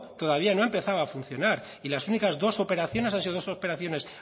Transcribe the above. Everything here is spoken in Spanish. todavía no ha empezado a funcionar y las únicas dos operaciones han sido dos operaciones